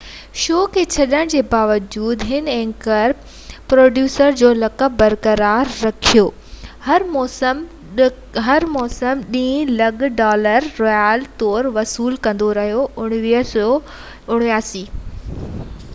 1993 ۾ show کي ڇڏڻ جي باوجود هن ايگزيڪيوٽو پروڊيوسر جو لقب برقرار رکيو ۽ هر موسم ڏهن لک ڊالر رائلٽيز طور وصول ڪندو رهيو